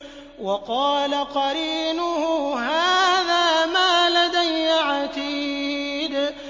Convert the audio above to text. وَقَالَ قَرِينُهُ هَٰذَا مَا لَدَيَّ عَتِيدٌ